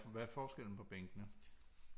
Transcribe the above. Hvad er forskellen på bænkene